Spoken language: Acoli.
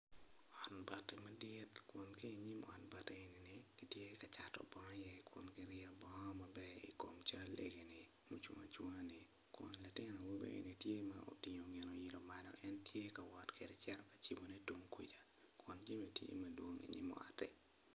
Ot bati mapol ot bati magi kitye ka cato bongo iye jami bene tye mapol ma kicano i dukan mukene tye olwore orumo ot bati man woko.